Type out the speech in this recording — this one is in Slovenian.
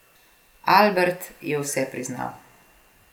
Albert je vse priznal.